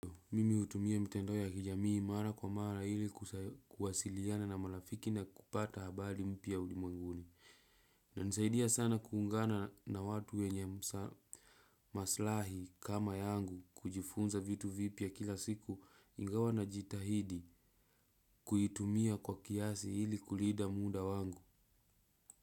Mimi utumia mitandao ya kijamii mara kwa mara hili kuasailiana na malafiki na kupata habadi mpya ulimwenguni. Na nisaidia sana kuungana na watu wenye maslahi kama yangu kujifunza vitu vipya kila siku ingawa na jitahidi kuitumia kwa kiasi hili kulida muda wangu.